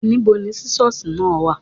Níbo ni sísọ́sì náà wà.?